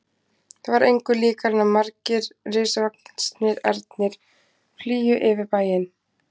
Það var engu líkara en margir risavaxnir ernir flygju yfir bæinn.